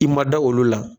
I ma da olu la